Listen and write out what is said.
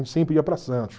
sempre ia para Santos.